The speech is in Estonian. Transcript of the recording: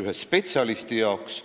ühe spetsialisti jaoks.